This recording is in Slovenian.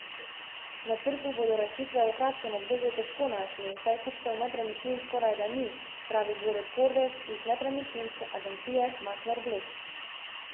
Na trgu bodo rešitve v kratkem obdobju težko našli, saj kupcev nepremičnin skorajda ni, pravi Borut Kordež iz nepremičninske agencije Makler Bled.